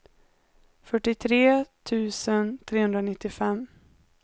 fyrtiotre tusen trehundranittiofem